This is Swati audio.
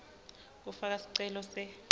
kufaka sicelo se